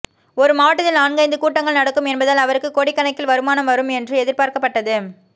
ஒரு மாவட்டத்தில் நான்கைந்து கூட்டங்கள் நடக்கும் என்பதால் அவருக்கு கோடிக்கணக்கில் வருமானம் வரும் என்று எதிர்பார்க்கப்பட்டது